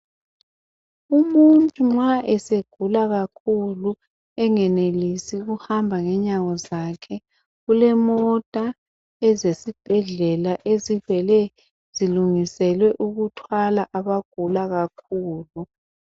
Umuntu nxa esegula kakhulu engenelisi ukuhamba ngenyawo zakhe kulemota ezesibhedlela ezivele zilungiselwe ukuthwala abagula kakhulu.